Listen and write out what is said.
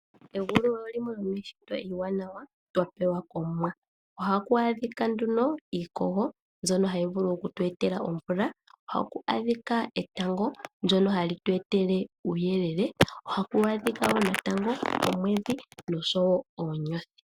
Egulu olo limwe lyomiishitwa iiwanawa twapewa komwa. Ohaku adhika nduno iikogo mbyono hayi vulu oku tu etela omvula. Oha ku adhika etango , ndyono hali tu etele uuyelele. Oha ku adhika woo natango omwedhi noshowo oonyothi.